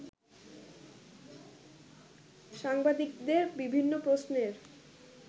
সাংবাদিকদের বিভিন্ন প্রশ্নের